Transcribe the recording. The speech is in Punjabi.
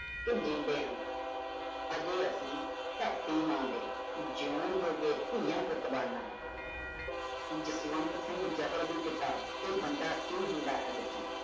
ਕਿ ਜੀਂਦੇ ਹਾਂ। ਹਜੇ ਅਸੀ ਧਰਤੀ ਮਾਂ ਦੇ ਜੀਓਣ ਜੋਗੇ ਧੀਆਂਂ ਪੁੱਤ ਬਣਨਾ ਹੈ। ਜਸਵੰਤ ਸਿੰਘ ਜਫਰ ਦੀ ਕਿਤਾਬ ਇਹ ਬੰਦਾ ਕਿ ਹੁੰਦਾ ਹੈ ਵਿੱਚੋਂ